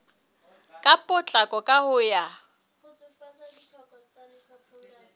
ka potlako ka ho ya